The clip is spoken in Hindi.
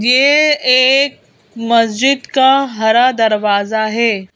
यह एक मस्जिद का हरा दरवाजा है।